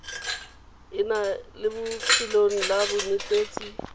enale mo lefelong la bonetetshi